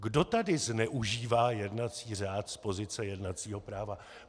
Kdo tady zneužívá jednací řád z pozice jednacího práva?